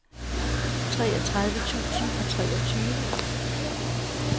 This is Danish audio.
treogtredive tusind og treogtyve